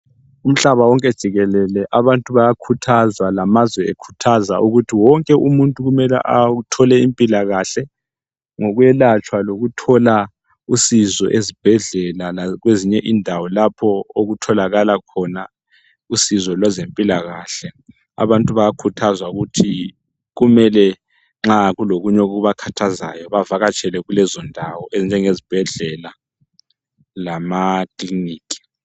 Umhlaba wonke jikelele, abantu bayakhuthazwa lamazwe ekhuthaza ukuthi wonke umuntu kumele athole impilakahle. Ngokwelatshwa lokuthola usizo ezibhedlela, lakwezinye indawo lapho okutholakala khona usizo lwezempila kahle. Abantu bayakhuthazwa ukuthi kumele nxa kulokunye okubakhathazayo bavatshele Kulezo ndawo ezinjenge ezibhedlela lamakiliniki.